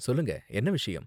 சொல்லுங்க, என்ன விஷயம்?